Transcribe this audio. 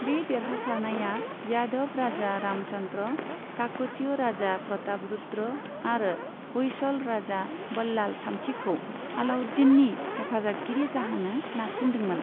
बे देरहासारनाया यादव राजा रामचन्द्र, काकतिय राजा प्रतापरुद्र आरो होयसल राजा बल्लाल थामथिखौ अलाउद्दीननि हेफाजाबगिरि जाहोनो नारसिनदोंमोन।